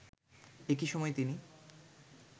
একই সময় তিনি